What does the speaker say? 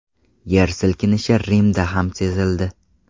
Yer silkinishi Rimda ham sezildi.